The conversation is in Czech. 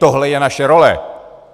Tohle je naše role.